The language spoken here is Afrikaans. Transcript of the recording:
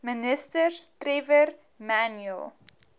ministers trevor manuel